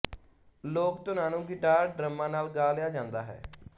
ਲੋਕ ਧੁਨਾਂ ਨੂੰ ਗਿਟਾਰ ਡਰੱਮਾਂ ਨਾਲ ਗਾ ਲਿਆ ਜਾਂਦਾ ਹੈ